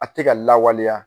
A te ka lawaleya